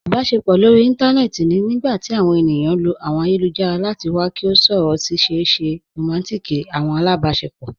Ìbàṣepọ̀ lórí ìntanẹ̀ẹ̀tì ni nígbàtí àwọn ènìyàn lọ̀ àwọn ayélujára láti wà kí wọ̀ sọ̀rọ̀ sí ṣèè ṣé rọmántík àwọn alábàṣepọ̀.